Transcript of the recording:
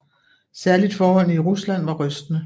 Særligt forholdene i Rusland var rystende